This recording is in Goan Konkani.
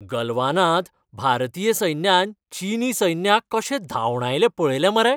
गलवानांत भारतीय सैन्यान चिनी सैन्याक कशें धांवडायलें पळयलें मरे!